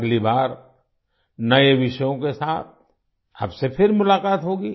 अगली बार नए विषयों के साथ आपसे फिर मुलाकात होगी